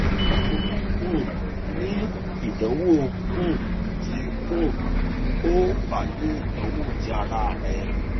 mo um ni idanwo um ti um o ba ni idanwo ti ara rẹ